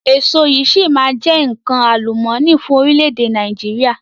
Èso yìí si maa jẹ nkan àlùmọ́ọ́nì fún orílẹ̀ èdè Nàìjíríà